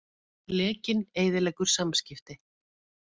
Lekinn eyðileggur samskipti